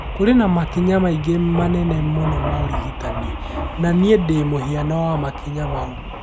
"Kũrĩ na makinya mĩingĩ manene muno ya ũrigitani . Na niĩ ndĩ mũhiano wa makinya mau.